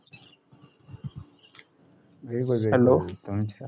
hello